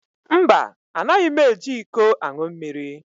Mba, Anaghị m eji iko aṅụ mmiri